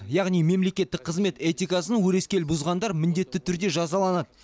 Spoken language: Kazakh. яғни мемлекеттік қызмет этикасын өрескел бұзғандар міндетті түрде жазаланады